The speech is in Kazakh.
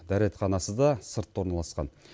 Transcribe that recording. дәретханасы да сыртта орналасқан